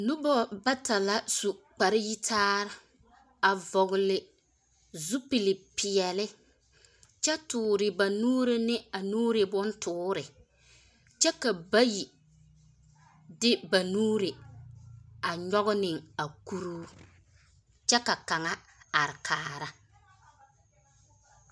Nobɔ bata la su kpareyitaare, a vɔgele zupili-peɛle, kyɛ toore ba nuuri ne a nuuri bontoore, kyɛ ka bayi de ba nuuri, a nyɔge ne a kuruu, kyɛ ka kaŋa are kaara.